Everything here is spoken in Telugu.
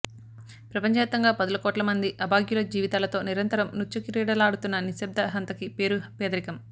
ప్రపంచవ్యాప్తంగా పదుల కోట్లమంది అభాగ్యుల జీవితాలతో నిరంతరం మృత్యుక్రీడలాడుతున్న నిశ్శబ్ద హంతకి పేరు పేదరికం